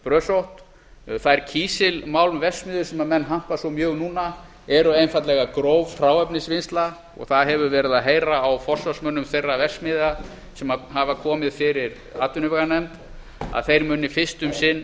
brösótt þær kísilmálmverksmiðjur sem menn hampa svo mjög núna eru einfaldlega gróf hráefnisvinnsla og það hefur verið að heyra á forsvarsmönnum þeirra verksmiðja sem hafa komið fyrir atvinnuveganefnd að þeir muni fyrst um sinn